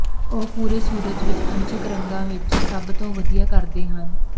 ਉਹ ਪੂਰੇ ਸੂਰਜ ਵਿੱਚ ਅੰਸ਼ਕ ਰੰਗਾਂ ਵਿੱਚ ਸਭ ਤੋਂ ਵਧੀਆ ਕਰਦੇ ਹਨ